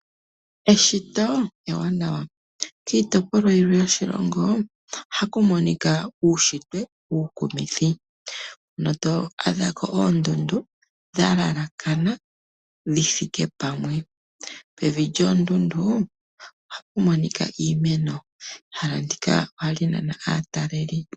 Eshito ewanawa. Kiitopolwa yimwe yoshilongo ohaku monika uushitwe uukumithi. Ohaku adhika oondundu dha laakana dhi thike pamwe. Pevi lyoondundu ohapu monika iimeno. Ehala ndika ohali nana aataleli.